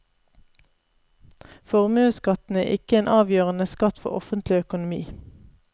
Formuesskatten er ikke en avgjørende skatt for offentlig økonomi.